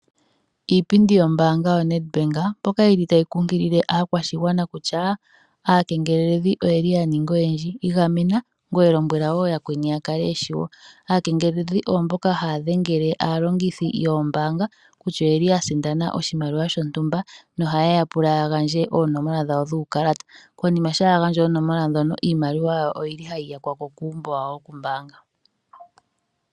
iipindi yombaanga yoNedbank moka taya kumagidha aakwashigwana kutya aakengeleledhi oya nika oyendji. Igamena ngoye lombwela wo yakweni ya kale ye shiwo. Aakengeledhi oyo mboka haya dhengele aalongithi yombaanga kutya oya sindana oshimaliwa shontumba nohaye ya pula ya gandje oonomola dhawo dhuukalata. Konima shampa ya gandja oonomola ndhono, iimaliwa yawo ohayi yakwa ko koompungulilo dhawo dhoombaanga.